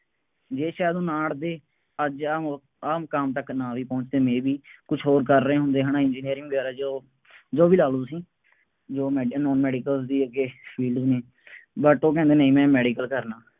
ਜੇ ਚਾਰੋਂ ਨਾ ਅੜ੍ਹਦੇ, ਅੱਜ ਆਹ ਮੋ ਆਹ ਮੁਕਾਮ ਤੱਕ ਨਾ ਵੀ ਪਹੁੰਚਦੇ may be ਕੁੱਛ ਹੋਰ ਕਰ ਰਹੇ ਹੁੰਦੇ ਹੈ ਨਾ, ਇੰਜੀਨਅਰਿੰਗ ਵਗੈਰਾ ਜੋ, ਜੋ ਵੀ ਲਾ ਲਉ ਤੁਸੀਂ, job ਮਿਲ ਜਾਏ ਨਾਨ-ਮੈਡੀਕਲ ਦੀ ਅੱਗੇ, but ਉਹ ਕਹਿੰਦੇ ਨਹੀਂ, ਮੈਂ ਮੈਡੀਕਲ ਕਰਨਾ।